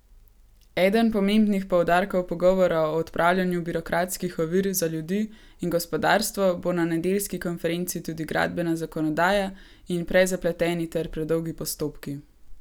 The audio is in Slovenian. Eden pomembnih poudarkov pogovora o odpravljanju birokratskih ovir za ljudi in gospodarstvo bo na nedeljski konferenci tudi gradbena zakonodaja in prezapleteni ter predolgi postopki.